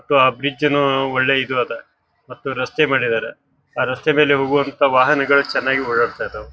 ವಟ ಆ ಬ್ರಿಜ್ ನು ಒಳ್ಳೆ ಇದು ಅದ. ಮತ್ತು ರಸ್ತೆ ಮಾಡಿದರೆ. ಆ ರಸ್ತೆ ಮೇಲೆ ಹೋಗುವಂತಹ ವಾಹನಗಳ ಚನ್ನಾಗಿ ಓಡಾತಿದ್ದವ್.